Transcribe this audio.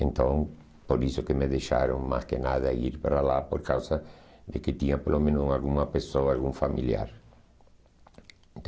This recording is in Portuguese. Então, por isso que me deixaram mais que nada ir para lá, por causa de que tinha pelo menos alguma pessoa, algum familiar.